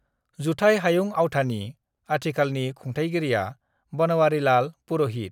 जुथाइ हायुं आवथानि आथिखालनि खुंथायगिरिया बनवारीलाल पुर'हित ।